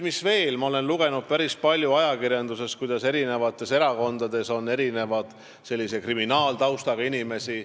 Ma olen ajakirjandusest päris palju lugenud, et meie erakondades on hulk kriminaalse taustaga inimesi.